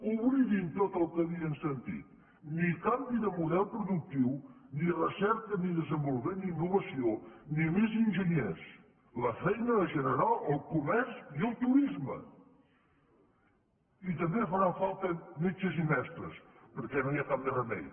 oblidin tot el que havien sentit ni canvi de model productiu ni recerca ni desenvolupament ni innovació ni més enginyers la feina la generarà el comerç i el turisme i també faran falta metges i mestres perquè no hi ha cap més remei